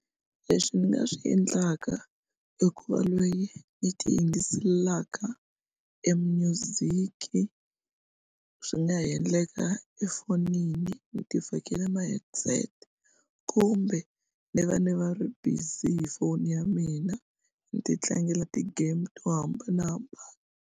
Leswi ni nga swi endlaka i ku va loyi ni ti yingiselelaka e music swi nga ha endleka efonini ni ti fakila maheadset kumbe ni va ni va ri busy hi phone ya mina ni ti tlangela ti-game to hambanahambana.